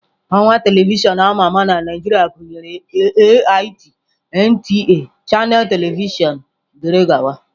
Ọwa telivishọn ama ama na Naijiria gụnyere AIT, NTA, Channels telivishọn wdg.